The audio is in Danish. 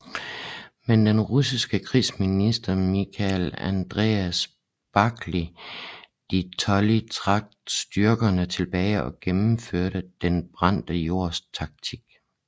Men den russiske krigsminister Michael Andreas Barclay de Tolly trak styrkerne tilbage og gennemførte Den brændte jords taktik